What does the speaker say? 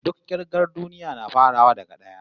Duk kirgar duniya na farawa daga d'aya